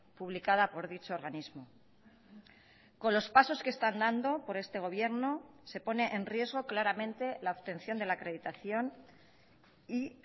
publicada por dicho organismo con los pasos que están dando por este gobierno se pone en riesgo claramente la obtención de la acreditación y